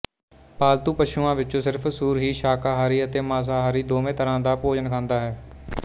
ਪਾਲਤੂ ਪਸ਼ੂਆਂ ਵਿੱਚੋਂ ਸਿਰਫ ਸੂਰ ਹੀ ਸ਼ਾਕਾਹਾਰੀ ਅਤੇ ਮਾਸਾਹਾਰੀ ਦੋਵੇਂ ਤਰ੍ਹਾਂ ਦਾ ਭੋਜਨ ਖਾਂਦਾ ਹੈ